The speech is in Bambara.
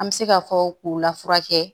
An bɛ se ka fɔ k'u lafula kɛ